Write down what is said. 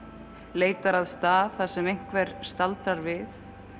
leitar að stað þar sem einhver staldrar við